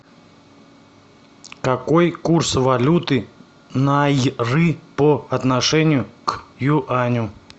какой курс валюты найры по отношению к юаню